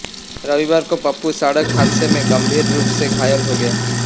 रविवार को पप्पू सड़क हादसे में गंभीर रूप से घायल हो गया